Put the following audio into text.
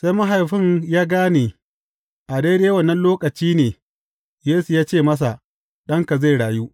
Sai mahaifin ya gane a daidai wannan lokaci ne Yesu ya ce masa, Ɗanka zai rayu.